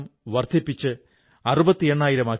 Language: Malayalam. നിങ്ങളും തീർച്ചയായും അതിൽ പങ്കുചേരണം